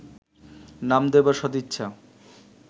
নাম দেবার সদিচ্ছা